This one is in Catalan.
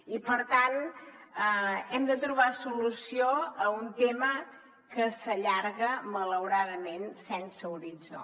i per tant hem de trobar solució a un tema que s’allarga malauradament sense horitzó